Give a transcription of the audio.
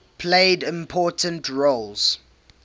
played important roles